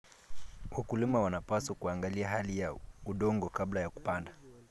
Wakulima wanapaswa kuangalia hali ya udongo kabla ya kupanda.